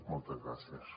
moltes gràcies